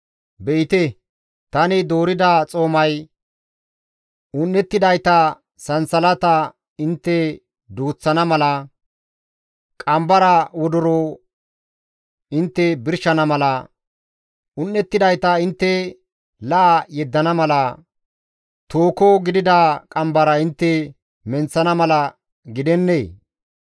«Be7ite tani doorida xoomay, un7ettidayta sansalata intte duuththana mala, qambara wodoro intte birshana mala, un7ettidayta intte la7a yeddana mala, tooho gidida qambara intte menththana mala gidennee?